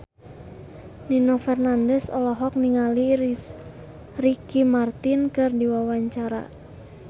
Nino Fernandez olohok ningali Ricky Martin keur diwawancara